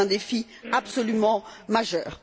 C'est un défi absolument majeur.